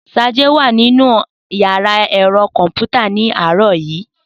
Sade wà nínú yàrá ẹ̀rọ kọ̀m̀pútà ní àárọ̀ yìí